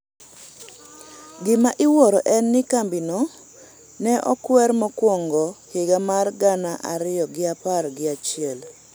gima iwuoro en ni kambino ne okwer mokwongo-higa mar gana ariyo gi apar gi achiel